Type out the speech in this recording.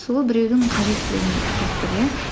сол біреудің қажеттілігі не болып тұр иә